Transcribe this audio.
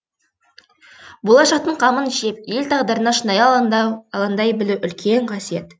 болашақтың қамын жеп ел тағдырына шынайы алаңдай білу үлкен қасиет